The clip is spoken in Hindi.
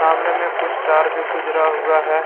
सामने में कुछ तार भी गुजरा हुआ है ।